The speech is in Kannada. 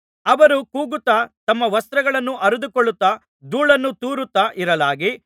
ಅವರು ಕೂಗುತ್ತಾ ತಮ್ಮ ವಸ್ತ್ರಗಳನ್ನು ಹರಿದುಕೊಳ್ಳುತ್ತಾ ಧೂಳನ್ನು ತೂರುತ್ತಾ ಇರಲಾಗಿ